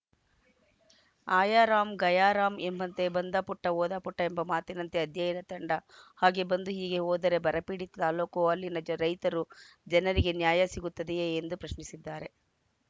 ಆಯಾ ರಾಮ್‌ ಗಯಾ ರಾಮ್‌ ಎಂಬಂತೆ ಬಂದ ಪುಟ್ಟ ಹೋದ ಪುಟ್ಟಎಂಬ ಮಾತಿನಂತೆ ಅಧ್ಯಯನ ತಂಡ ಹಾಗೇ ಬಂದು ಹೀಗೆ ಹೋದರೆ ಬರ ಪೀಡಿತ ತಾಲೂಕು ಅಲ್ಲಿನ ರೈತರು ಜನರಿಗೆ ನ್ಯಾಯ ಸಿಗುತ್ತದೆಯೇ ಎಂದು ಪ್ರಶ್ನಿಸಿದ್ದಾರೆ